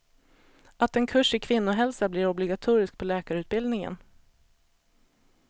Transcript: Att en kurs i kvinnohälsa blir obligatorisk på läkarutbildningen.